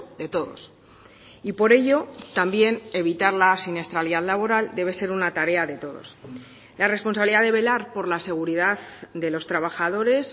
de todos y por ello también evitar la siniestralidad laboral debe ser una tarea de todos la responsabilidad de velar por la seguridad de los trabajadores